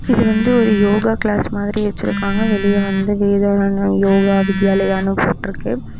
இது வந்து ஒரு யோகா கிளாஸ் மாதிரி வெச்சுருக்காங்க வெளிய வந்து வேதாரன்ய யோகா வித்யாலயானு போற்றுக்கு.